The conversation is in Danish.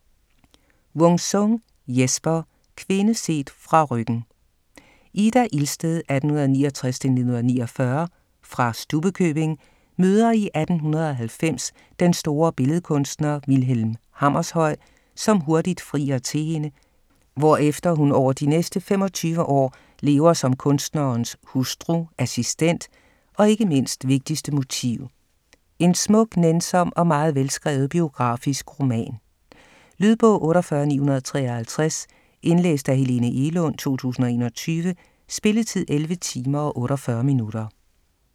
Wung-Sung, Jesper: Kvinde set fra ryggen Ida Ilsted (1869-1949) fra Stubbekøbing møder i 1890 den store billedkunstner, Vilhelm Hammershøi, som hurtigt frier til hende, hvorefter hun over de næste 25 år lever som kunstnerens hustru, assistent, og ikke mindst: vigtigste motiv. En smuk, nænsom og meget velskrevet biografisk roman. Lydbog 48953 Indlæst af Helene Egelund, 2021. Spilletid: 11 timer, 48 minutter.